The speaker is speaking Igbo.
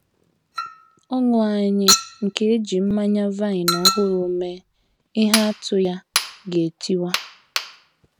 Ọṅụ anyị nke e ji mmanya vine ọhụrụ mee ihe atụ ya ga - etiwa.